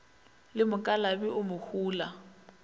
le mokalabi o mo hula